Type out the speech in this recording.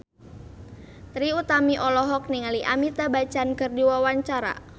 Trie Utami olohok ningali Amitabh Bachchan keur diwawancara